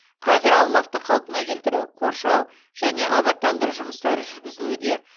қазір аумақты қалпына келтіру қоршау және абаттандыру жұмыстары жүргізілуде